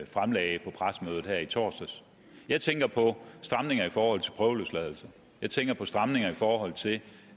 fremlagde på pressemødet her i torsdags jeg tænker på stramninger i forhold til prøveløsladelse jeg tænker på stramninger i forhold til